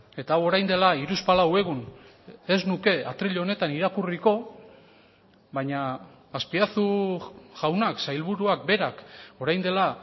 eta hau orain dela hiruzpalau egun ez nuke atril honetan irakurriko baina azpiazu jaunak sailburuak berak orain dela